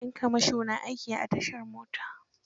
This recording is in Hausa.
Yan kamasho na aiki a tashar mota.